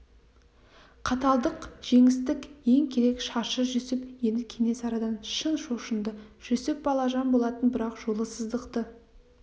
қаталдық жеңістің ең керек шарты жүсіп енді кенесарыдан шын шошынды жүсіп балажан болатын бірақ жолы сыздықты